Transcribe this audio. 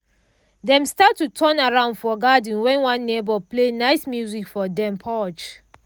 dem start to turn around for garden when one neighbor play nice music from dem porch